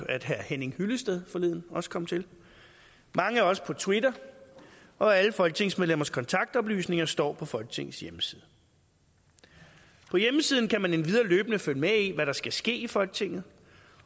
at herre henning hyllested forleden også kom til mange er også på twitter og alle folketingsmedlemmers kontaktoplysninger står på folketingets hjemmeside på hjemmesiden kan man endvidere løbende følge med i hvad der skal ske i folketinget